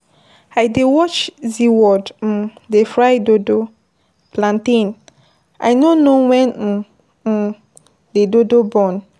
I dey watch zeaworld um dey fry dodo (plantain), I no know when um um the dodo burn.